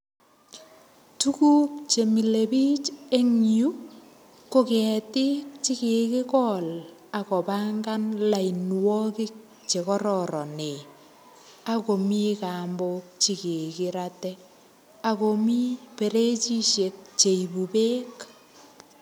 Tuguk chemile bich eng yu, ko ketik chekikikol akopangan lainwogik che kararanen. Akomii kambok che kikirate. Akomii ferejisiek cheibu beek.